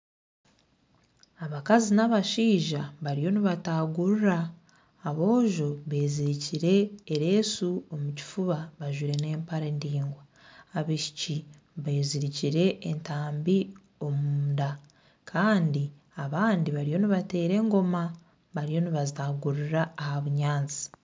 Abakazi n'abashaija bariyo nibataagurura aboojo bezirike ereeshu omu kifuuba bajwire n'empare ndaingwa abaishiiki bezirikire entambi omunda kandi abandi bariyo nibateera engooma bariyo nibataagururira aha bunyaatsi.